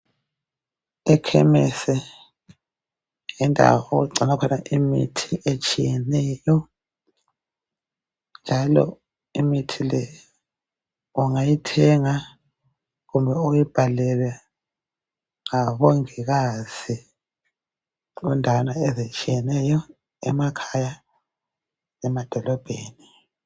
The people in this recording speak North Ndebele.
Ekhemesi yindawo okugcinwa khona imithi etshiyeneyo njalo imithi le ungayithenga kumbe uyibhalelwe ngomongikazi endaweni ezitshiyeneyo emakhaya emadolobheni.